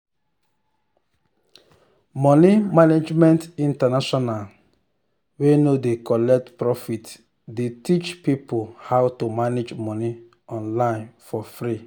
money management international wey no dey collect profit dey teach people how to manage money online for free.